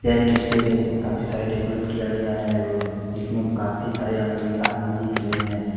यह एक स्टेड है। इसमें काफी सारे डेकोरेट किया गया है और इसमें काफी सारे आ आदमी दिख रहे हैं।